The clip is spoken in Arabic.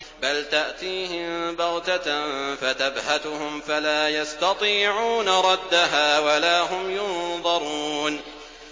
بَلْ تَأْتِيهِم بَغْتَةً فَتَبْهَتُهُمْ فَلَا يَسْتَطِيعُونَ رَدَّهَا وَلَا هُمْ يُنظَرُونَ